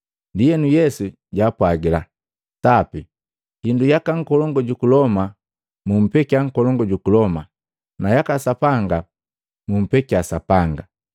Ndienu Yesu jaapwagila, “Sapi, hindu yaka nkolongu juku Loma mupekia nkolongu juku Loma, nayaka Sapanga mupekia Sapanga.”